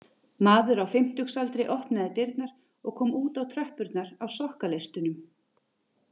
Maður á fimmtugsaldri opnaði dyrnar og kom út á tröppurnar á sokkaleistunum